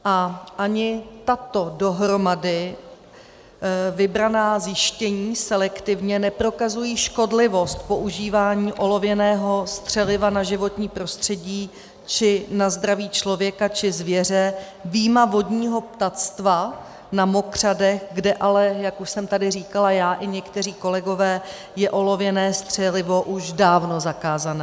A ani tato dohromady vybraná zjištění, selektivně, neprokazují škodlivost používání olověného střeliva na životní prostředí či na zdraví člověka či zvěře, vyjma vodního ptactva na mokřadech, kde ale, jak už jsem tady říkala já i někteří kolegové, je olověné střelivo už dávno zakázané.